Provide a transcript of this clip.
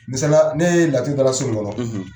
Misliya la, ne ye laturu dala nin so in kɔnɔ.